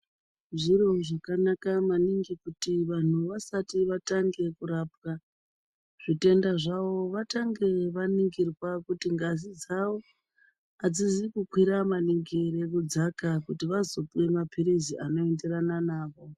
Zviro zvakanaka maningi kuti vantu vasati vatanga kurapwa zvitenda zvavo vatange vaningirwa kuti ngazi dzawo adzizi kukwira maningi ere nekudzaka kuti vazopuwa maphirizi anoenderana nawo.